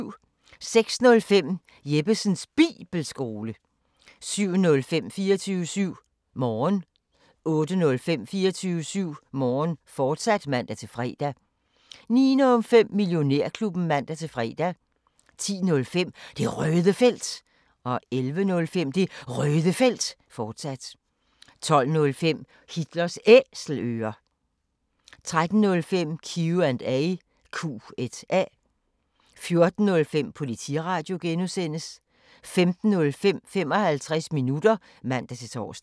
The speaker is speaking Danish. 06:05: Jeppesens Bibelskole 07:05: 24syv Morgen 08:05: 24syv Morgen, fortsat (man-fre) 09:05: Millionærklubben (man-fre) 10:05: Det Røde Felt 11:05: Det Røde Felt, fortsat 12:05: Hitlers Æselører 13:05: Q&A 14:05: Politiradio (G) 15:05: 55 minutter (man-tor)